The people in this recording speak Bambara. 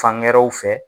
Fangɛrɛw fɛ